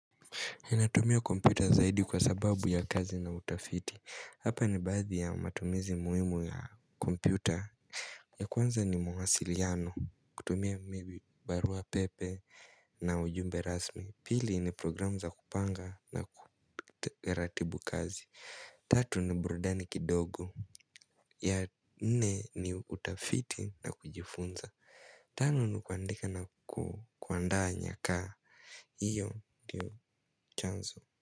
Nnatumia kompyuta zaidi kwa sababu ya kazi na utafiti hapa ni baadhi ya matumizi muhimu ya kompyuta ya kwanza ni mwasiliano kutumia maybe barua pepe na ujumbe rasmi pili ni programu za kupanga na kuratibu kazi tatu ni burudani kidogo ya nene ni utafiti na kujifunza tano, ni kundika na kuanda nyakaa iyo ndiyo chanzo.